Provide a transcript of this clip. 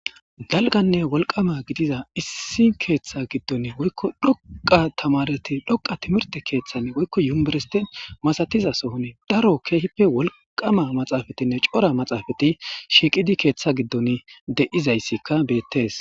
dalganne wolqama gidiza issi keeththa giddon woykko dhoqa tamareti dhoqa timirte keeththann woykko yuersti masatiza sohon daro keehippe wolqama maxaafatinne cora maxaafati shiiqidi keeththa giddon de7izayssikka beettees